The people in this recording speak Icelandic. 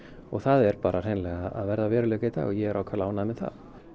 og það er hreinlega að verða að veruleika í dag og ég er ákaflega ánægður með það